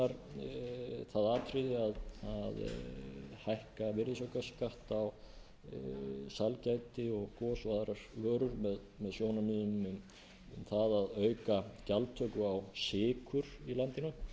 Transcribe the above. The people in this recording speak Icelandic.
það atriði að hækka virðisaukaskatt á sælgæti gos og aðrar vörur með sjónarmiðum um það að auka gjaldtöku á sykur í landinu og